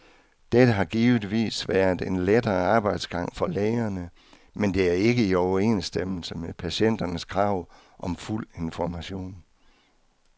Dette har givetvis været en lettere arbejdsgang for lægerne, men det er ikke i overensstemmelse med patienternes krav om fuld information.